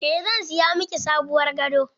Eh zan siya miki sabuwar gado.